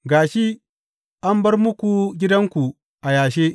Ga shi, an bar muku gidanku a yashe.